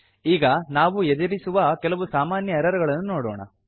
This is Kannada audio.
ಈಗ ನಾವು ಎದುರಿಸುವ ಕೆಲವು ಸಾಮಾನ್ಯ ಎರರ್ ಗಳನ್ನು ನೋಡೋಣ